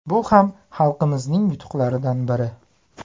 Bu ham xalqimizning yutuqlaridan biri”.